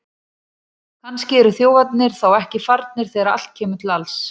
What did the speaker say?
Kannski eru þjófarnir þá ekki farnir þegar allt kemur til alls!